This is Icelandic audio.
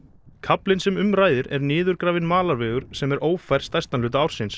kaflinn sem um ræðir er niðurgrafinn malarvegur sem er ófær stærstan hluta ársins